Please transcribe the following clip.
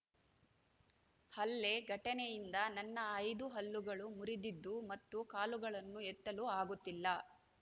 ಹಲ್ಲೆ ಘಟನೆಯಿಂದ ನನ್ನ ಐದು ಹಲ್ಲುಗಳು ಮುರಿದಿದ್ದು ಮತ್ತು ಕಾಲುಗಳನ್ನು ಎತ್ತಲು ಆಗುತ್ತಿಲ್ಲ